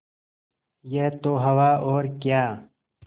यह तो हवा और क्या